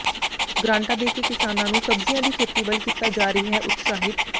ਗ੍ਰਾਂਟਾਂ ਦੇ ਕੇ ਕਿਸਾਨਾਂ ਨੂੰ ਸਬਜ਼ੀਆਂ ਦੀ ਖੇਤੀ ਵੱਲ ਕੀਤਾ ਜਾ ਰਿਹੈ ਉਤਸ਼ਾਹਿਤ